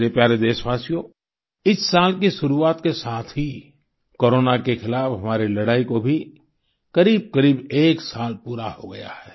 मेरे प्यारे देशवासियो इस साल की शुरुआत के साथ ही कोरोना के खिलाफ हमारी लड़ाई को भी करीबकरीब एक साल पूरा हो गया है